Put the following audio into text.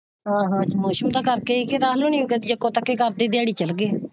ਮੌਸਮ ਦੇ ਕਰਕੇ ਹੀ ਅੱਜ ਅੱਧੀ ਦਿਹਾੜੀ ਚੱਲੀ ਗਈ।